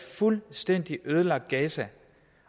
fuldstændig ødelagt gaza